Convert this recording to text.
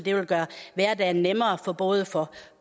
jeg vil gøre hverdagen nemmere både for